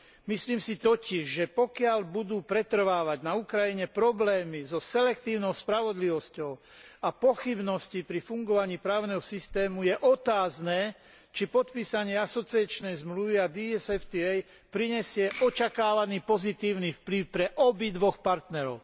Myslím si totiž, že pokiaľ budú pretrvávať na Ukrajine problémy so selektívnou spravodlivosťou a pochybnosti pri fungovaní právneho systému, je otázne, či podpísanie asociačnej zmluvy a DCFTA prinesie očakávaný pozitívny vplyv pre obidvoch partnerov.